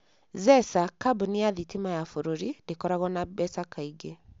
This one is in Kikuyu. Zesa, kambuni ya thitima ya bũrũri, ndĩkoragwo na mbeca kaingĩ.